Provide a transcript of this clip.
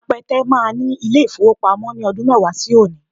Apẹtẹ máa ní ilé-ìfowópamọ́ ní ọdún mẹ́wàá sí òní